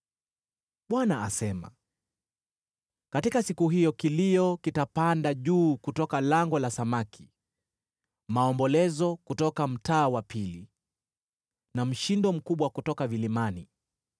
Bwana asema, “Katika siku hiyo kilio kitapanda juu kutoka lango la Samaki, maombolezo kutoka mtaa wa pili, na mshindo mkubwa kutoka vilimani.